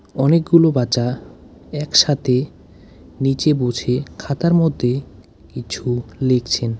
অনেকগুলো বাচ্চা একসাথে নীচে বসে খাতার মধ্যে কিছু লিখছেন।